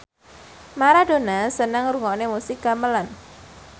Maradona seneng ngrungokne musik gamelan